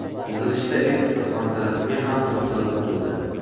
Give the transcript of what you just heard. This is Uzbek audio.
Yig‘ilishda eksport masalasiga ham to‘xtalib o‘tildi.